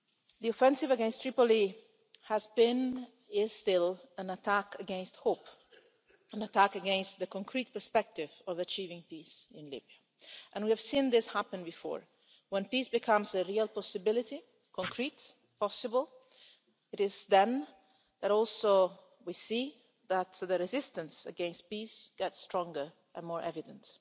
The offensive against Tripoli has been, is still, an attack against hope, an attack against the concrete perspective of achieving peace in Libya, and we have seen this happen before. When peace becomes a real possibility concrete, possible it is then also that we see that the resistance against peace gets stronger and more evident.